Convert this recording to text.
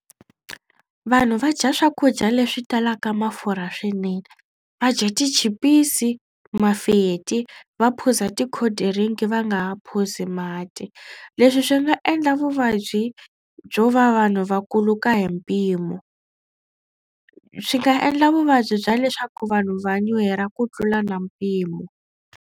Vanhu va dya swakudya leswi talaka mafurha swinene. Va dya tichipisi, mafeti va phuza tikhodirinki va nga ha phuzi mati. Leswi swi nga endla vuvabyi byo va vanhu va kuluka hi mpimo. Swi nga endla vuvabyi bya leswaku vanhu va nyuhela ku tlula na mpimo.